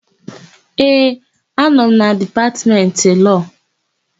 Ee, anọ m na Dipatmentị Lọọ.